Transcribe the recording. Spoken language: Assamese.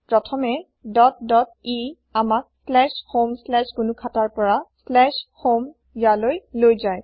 ই dot dot আমাক homegnukhata ৰ পৰা slash home slash gnukhata home ইয়ালৈ লৈ যায়